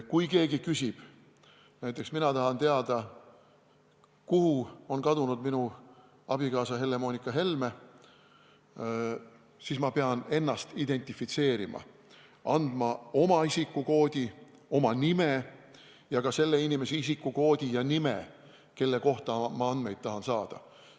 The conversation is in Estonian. Kui keegi midagi küsib – näiteks mina tahan teada, kuhu on kadunud minu abikaasa Helle-Moonika Helme –, siis ta peab ennast identifitseerima, andma oma isikukoodi ja nime ning ka selle inimese isikukoodi ja nime, kelle kohta tahetakse andmeid saada.